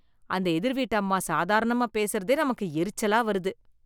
அந்த எதிர்வீட்டு அம்மா சாதாரணமா பேசுறதே நமக்கு எரிச்சலா வருது